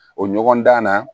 O ɲɔgɔndan na